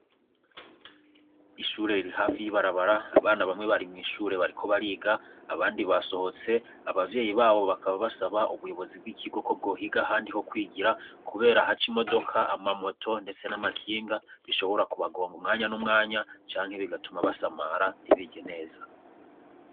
Ishuri riri hafi y'ibarabara abana bamwe bari mw'ishure bariko bariga abandi basohotse abavyeyi babo bakaba basaba ubuyobozi bw'ikigo ko bwohiga ahandi hokwigira kubera haca imodoka, amamoto ndetse n'amakinga bishobora ku bagonga umwanya n'umwanya canke bigatuma basamara ntibige neza.